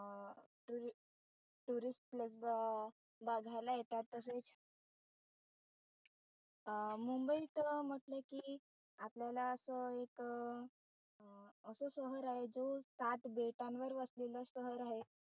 tourist place ब झालय त्यात तसेच अं मुंबईत म्हटलं कि आपल्याला असं एक अं असं शहर आहे जो सात बेटांवर वसलेलं शहर आहे.